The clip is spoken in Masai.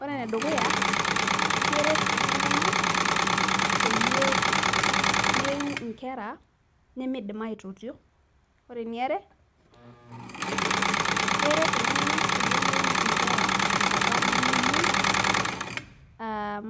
Ore ene dukuya keret iltunganak pee meiu nkera nemeidim aitotio. ore eniare, keret iltunganak peyie meiu nkera tenkata nemeyieu.